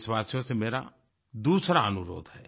देशवासियों से मेरा दूसरा अनुरोध है